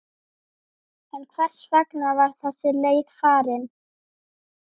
En hvers vegna var þessi leið farin?